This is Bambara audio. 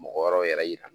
Mɔgɔ wɛrɛw yɛrɛ yira la